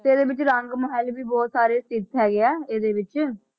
ਤੇ ਇਹਦੇ ਵਿੱਚ ਰੰਗ ਮਹਿਲ ਵੀ ਬਹੁਤ ਸਾਰੇ ਤੱਥ ਹੈਗੇ ਆ ਇਹਦੇ ਵਿੱਚ,